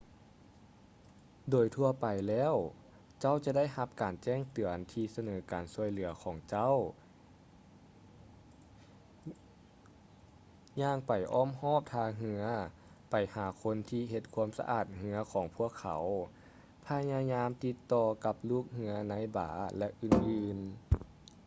ໂດຍທົ່ວໄປແລ້ວເຈົ້າຈະໄດ້ຮັບການແຈ້ງເຕືອນທີ່ສະເໜີການຊ່ວຍເຫຼືອຂອງເຈົ້າ ຍ່າງໄປອ້ອມຮອບທ່າເຮືອ,ໄປຫາຄົນທີ່ເຮັດຄວາມສະອາດເຮືອຂອງພວກເຂົາ ພະຍາຍາມຕິດຕໍ່ກັບລູກເຮືອໃນບາຣ ແລະ ອື່ນໆ